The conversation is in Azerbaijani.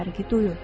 Fərqi duyun.